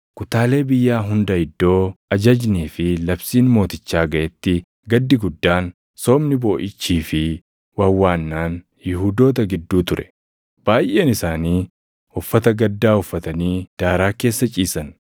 Kutaalee biyyaa hunda iddoo ajajnii fi labsiin mootichaa gaʼetti gaddi guddaan, soomni booʼichii fi wawwaannaan Yihuudoota gidduu ture; baayʼeen isaanii uffata gaddaa uffatanii daaraa keessa ciisan.